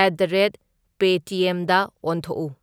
Eight the rate ꯄꯦ ꯇꯤ ꯑꯦꯝꯗ ꯑꯣꯟꯊꯣꯛꯎ꯫